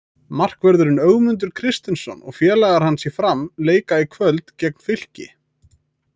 Markvörðurinn Ögmundur Kristinsson og félagar hans í Fram leika í kvöld gegn Fylki.